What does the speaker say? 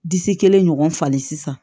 Disi kelen ɲɔgɔn fali sisan